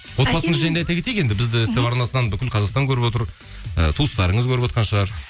отбасыңыз жайында айта кетейік енді бізді ств арнасынан бүкіл қазақстан көріп отыр ы туыстарыңыз көріп отқан шығар